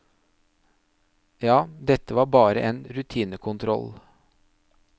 Ja, dette var bare en rutinekontroll.